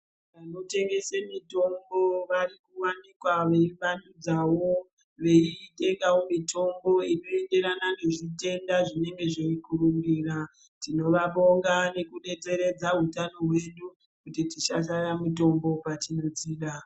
Vanotengese mitombo varikuwanikwa veivandudzavo veitengawo mitombo inoenderana nezvitenda zvinenge zveikurumbira tinovabonga nekudetseredza utano hwedu kuti tisashaya mitombo patinodzida .